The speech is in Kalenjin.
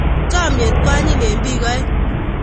Chomiet ko anyiny en biik aeng